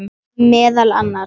Meðal annars.